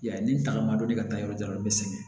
I y'a ye ni tagama don ne ka taa yɔrɔ jan o bɛ sɛgɛn